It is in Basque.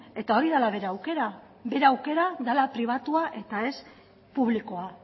eta hori dela bere aukera bere aukera dela pribatua eta ez publikoa